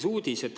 … on uudis.